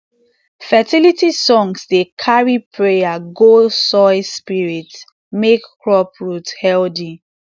fertility songs dey carry prayer go soil spirit make crop root healthy